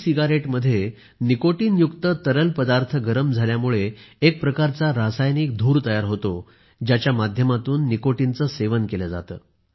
सिगारेटमध्ये निकोटिनयुक्त तरल पदार्थ गरम झाल्यामुळे एक प्रकारचा रासायनिक धूर तयार होतो ज्याच्या माध्यमातून निकोटिनचे सेवन केले जाते